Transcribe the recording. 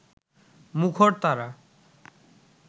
মুখর তারা